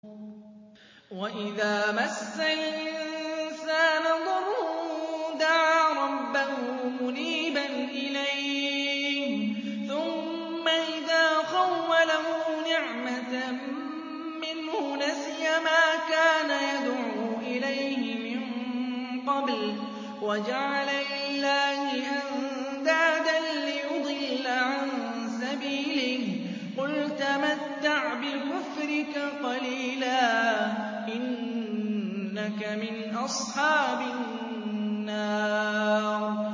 ۞ وَإِذَا مَسَّ الْإِنسَانَ ضُرٌّ دَعَا رَبَّهُ مُنِيبًا إِلَيْهِ ثُمَّ إِذَا خَوَّلَهُ نِعْمَةً مِّنْهُ نَسِيَ مَا كَانَ يَدْعُو إِلَيْهِ مِن قَبْلُ وَجَعَلَ لِلَّهِ أَندَادًا لِّيُضِلَّ عَن سَبِيلِهِ ۚ قُلْ تَمَتَّعْ بِكُفْرِكَ قَلِيلًا ۖ إِنَّكَ مِنْ أَصْحَابِ النَّارِ